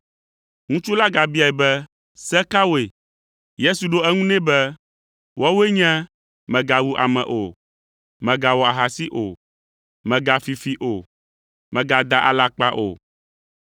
Ŋutsu la gabiae be, “Se kawoe?” Yesu ɖo eŋu nɛ be, “Woawoe nye, mègawu ame o; mègawɔ ahasi o; megafi fi o; mègada alakpa o;